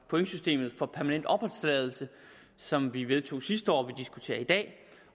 pointsystemet for permanent opholdstilladelse som vi vedtog sidste år og som diskuterer i dag og